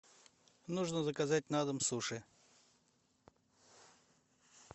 нужно заказать на дом суши